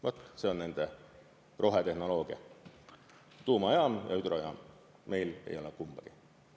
Vat see on nende rohetehnoloogia – tuumajaam ja hüdrojaam –, meil ei ole kumbagi.